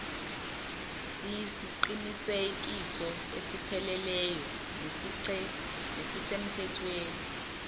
siyisiqinisekiso esipheleleyo nesisemthethweni